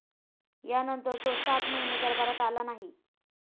यानंतर तो सात महिने दरबारात आला नाही.